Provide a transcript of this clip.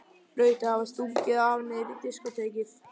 Hlaut að hafa stungið af niður í diskótekið.